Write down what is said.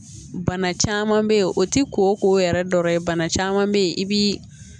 Bana caman bɛ yen o tɛ ko yɛrɛ dɔ ye bana caman bɛ yen i bɛ